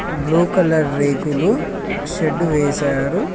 Blue colour రేకులు shed వేశారు.